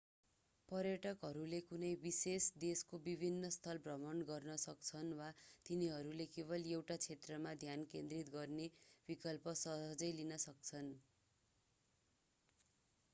पर्यटकहरूले कुनै विशेष देशको विभिन्न स्थल भ्रमण गर्न सक्छन् वा तिनीहरूले केवल एउटा क्षेत्रमा ध्यान केन्द्रित गर्ने विकल्प सहजै लिन सक्छन्